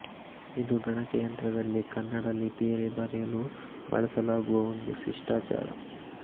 ಇದು ಗಣಕಯಂತ್ರದಲ್ಲಿ ಕನ್ನಡ ಲಿಪಿಯಲ್ಲಿ ಬರೆಯಲು ಬಳಸಲಾಗುವ ಒಂದು ಶಿಷ್ಟಾಚಾರ